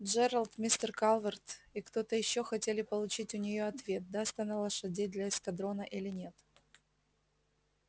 джералд мистер калверт и кто-то ещё хотели получить у неё ответ даст она лошадей для эскадрона или нет